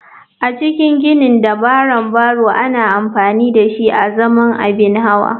A cikin ginin dabaran barrow ana amfani dashi azaman abin hawa.